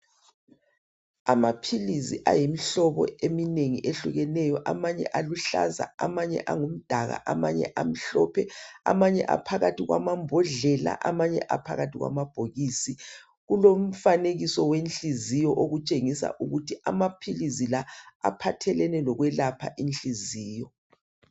Amaphilisi ayimihlobo eminengi ehlukeneyo amanye aluhlaza amanye angumdaka amanye amhlophe amanye aphakathi kwamambodlela amanye aphakathi kwamabhokisi. Kulomfanekiso wenhliziyo otshengisa ukuthi amaphilisi la aphathelane lokwelapha inhliziyo